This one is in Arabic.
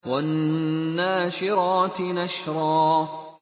وَالنَّاشِرَاتِ نَشْرًا